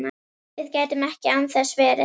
Við gætum ekki án þess verið